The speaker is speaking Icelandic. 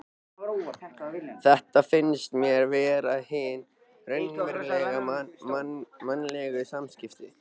Þetta finnst mér vera hin raunverulegu mannlegu samskipti.